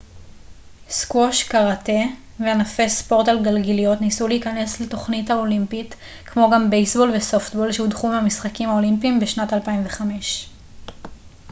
סקווש קרטה וענפי ספורט על גלגיליות ניסו להיכנס לתוכנית האולימפית כמו גם בייסבול וסופטבול שהודחו מהמשחקים האולימפיים בשנת 2005